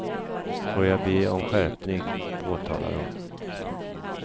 Får jag be om skärpning, påtalar hon.